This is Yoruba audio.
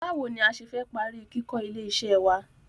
Báwo ni a ṣe fẹ́ parí kíkó ilé iṣẹ́ wá?